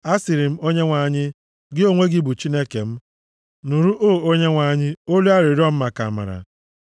A sịrị m Onyenwe anyị, “Gị onwe gị bụ Chineke m.” Nụrụ, O Onyenwe anyị, olu arịrịọ m maka amara.